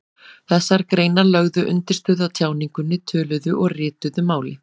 Þessar greinar lögðu undirstöðu að tjáningunni, töluðu og ritaðu máli.